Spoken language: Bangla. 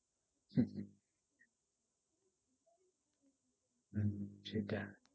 সেটা